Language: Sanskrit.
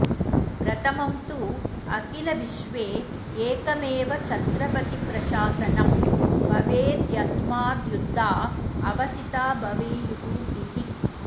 प्रथमं तु अखिलविश्वे एकमेव छत्रपतिप्रशासनं भवेद्यस्माद्युद्धा अवसिता भवेयुः इति